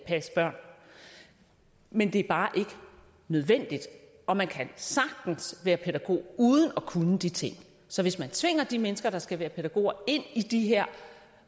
passe børn men det er bare ikke nødvendigt og man kan sagtens være pædagog uden at kunne de ting så hvis man tvinger de mennesker der skal være pædagoger ind i de her